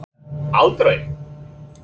Ingólfur: Aldrei?